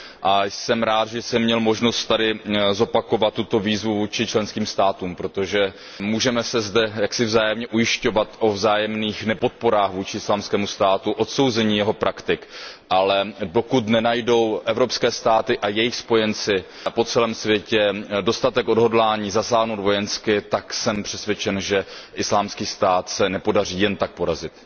A jsem rád, že jsem měl možnost tady zopakovat tuto výzvu vůči členským státům, protože můžeme se zde jaksi vzájemně ujišťovat o vzájemných nepodporách Islámského státu, o odsouzení jeho praktik, ale dokud nenajdou evropské státy a jejich spojenci po celém světě dostatek odhodlání zasáhnout vojensky, tak jsem přesvědčen, že Islámský stát se nepodaří jen tak porazit.